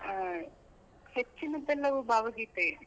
ಆ ಹೆಚ್ಚಿನದ್ದೆಲ್ಲವೂ ಭಾವಗೀತೆಯೇ.